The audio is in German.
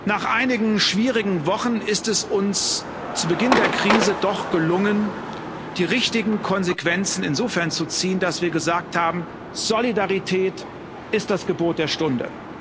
Nach einigen schwierigen Wochen ist es uns zu Beginn der Krise doch gelungen, die richtigen Konsequenzen insofern zu ziehen, dass wir gesagt haben Solidarität ist das Gebot der Stunde.